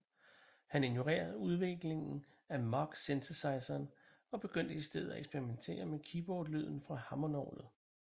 Han ignorerede udviklingen af Moog synthesizeren og begyndte i stedet at eksperimentere med keyboardlyden fra et hammondorgel